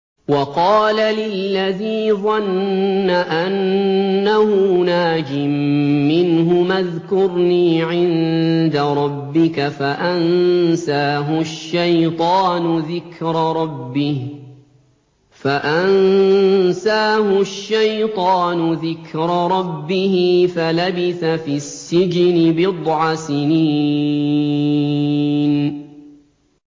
وَقَالَ لِلَّذِي ظَنَّ أَنَّهُ نَاجٍ مِّنْهُمَا اذْكُرْنِي عِندَ رَبِّكَ فَأَنسَاهُ الشَّيْطَانُ ذِكْرَ رَبِّهِ فَلَبِثَ فِي السِّجْنِ بِضْعَ سِنِينَ